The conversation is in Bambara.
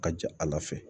Ka ja ala fɛ